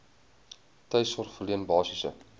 tuissorg verleen basiese